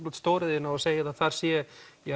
út stóriðjuna og segið að þar sé